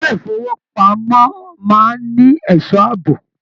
Ilé ifowopamọ máa n ní ẹsọ́ ààbò.